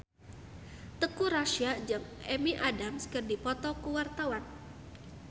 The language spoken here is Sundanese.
Teuku Rassya jeung Amy Adams keur dipoto ku wartawan